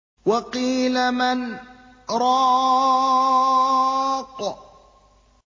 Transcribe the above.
وَقِيلَ مَنْ ۜ رَاقٍ